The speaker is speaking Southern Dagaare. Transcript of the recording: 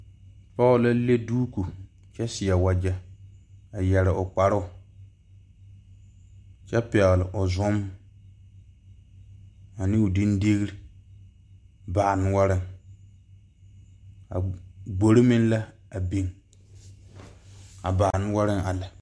Poɔ la le duuku kye seɛ wuje a yeri ɔ kparuu kye pɛgli ɔ zun ane ɔ dingdil baa noɔring a gbori meng la a bing a ba .